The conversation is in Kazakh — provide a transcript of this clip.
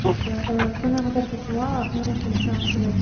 түсінікті ііі сонымен қатар фатима мына нәрсені сұрағым келеді